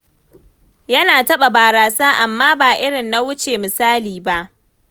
Yana taɓa barasa amma ba irin na wuce misali ba.